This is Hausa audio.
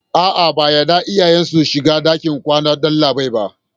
A'a, ba a yarda iyaye su shiga ɗakin kwanan dalibai ba.